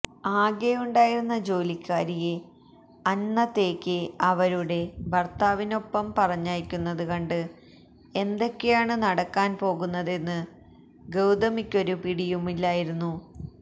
ആകെയുണ്ടായിരുന്ന ജോലിക്കാരിയെ അന്നത്തേയ്ക്ക് അവരുടെ ഭർത്താവിനൊപ്പം പറഞ്ഞയക്കുന്നത് കണ്ട് എന്തൊക്കെയാണ് നടക്കാൻ പോകുന്നതെന്ന് ഗൌതമിക്കൊരു പിടിയുമില്ലായിരുന്നു